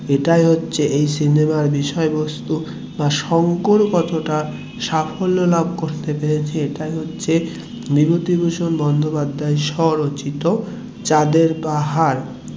সেটাই হচ্ছে এই সিনেমার বিষয়বস্তু বা শঙ্কর কতটা সাফল্য লাভ করতে পেরেছে সেটাই হচ্ছে বিভূতিভূষণ বন্দোপাধ্যায়ের স্বরচিত চাঁদের পাহাড়